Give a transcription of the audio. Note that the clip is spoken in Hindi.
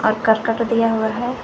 और करकट दिया हुआ है।